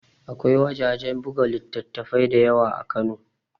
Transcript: Akwai wajajen buga littattafai da yawa a kano